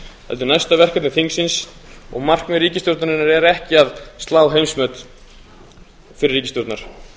heldur næsta verkefni þingsins og markmið ríkisstjórnarinnar er ekki að slá heimsmet fyrri ríkisstjórnar